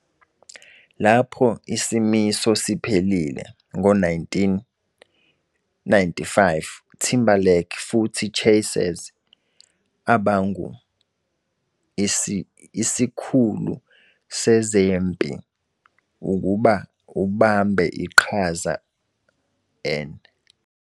Lapho isimiso siphelile ngo-1995, Timberlake futhi Chasez abangu isikhulu sezempi ukuba ubambe iqhaza 'N